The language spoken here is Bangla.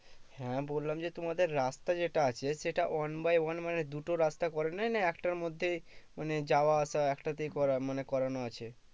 হ্যাঁ বললাম যে তোমাদের রাস্তা যেটা আছে সেটা one by one মানে দুটো রাস্তা করে নাই না একটার মধ্যেই, মানে যাওয়া আশা একটাতেই করা মানে করানো আছে?